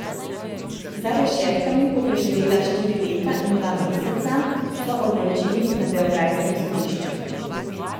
Za rešetkami bo preživela štiri leta in dva meseca, so odločili na beograjskem sodišču.